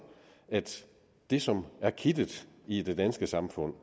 at det som er kittet i det danske samfund